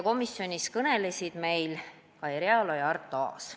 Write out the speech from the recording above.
Komisjonis kõnelesid meil Kai Realo ja Arto Aas.